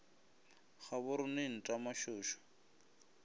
ga bo rone nta mašošo